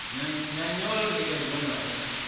na nyolo ndingedzo na u